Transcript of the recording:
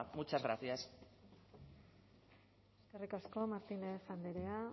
muchas gracias eskerrik asko martínez andrea